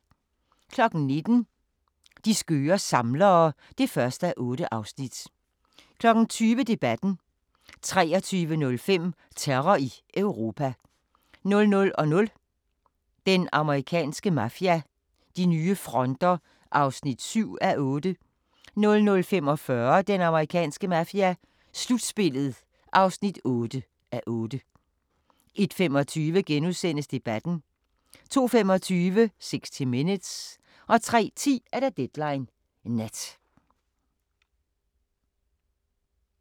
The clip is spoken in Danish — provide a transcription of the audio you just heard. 19:00: De skøre samlere (1:8) 20:00: Debatten 23:05: Terror i Europa 00:00: Den amerikanske mafia: De nye fronter (7:8) 00:45: Den amerikanske mafia: Slutspillet (8:8) 01:25: Debatten * 02:25: 60 Minutes 03:10: Deadline Nat